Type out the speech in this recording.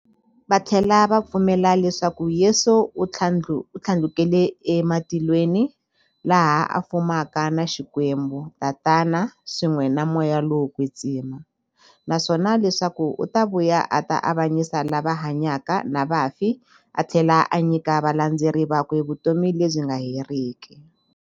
Vathlela va pfumela leswaku Yesu u thlandlukele ematilweni, laha a fumaka na Xikwembu-Tatana, swin'we na Moya lowo kwetsima, naswona leswaku u ta vuya a ta avanyisa lava hanyaka na vafi athlela a nyika valandzeri vakwe vutomi lebyi nga heriki.